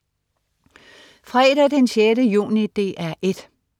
Fredag den 6. juni - DR 1: